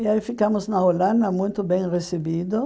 E aí ficamos na Holanda, muito bem recebido,